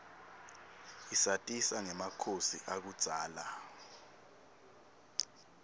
isatisa ngemakhosi akudzala